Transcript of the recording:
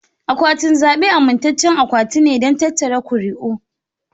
Akwatin zabe amintaccen akwati ne don tattara ƙuri'u.